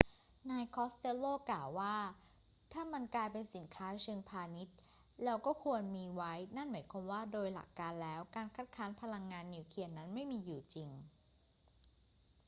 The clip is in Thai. นายคอสเตลโลกล่าวว่า ถ้ามันกลายเป็นสินค้าเชิงพาณิชย์ เราก็ควรมีไว้ นั่นหมายความว่าโดยหลักการแล้วการคัดค้านพลังงานนิวเคลียร์นั้นไม่มีอยู่จริง